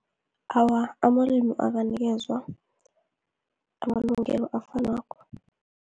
Awa, amalimu akanikezwa amalungelo afanako.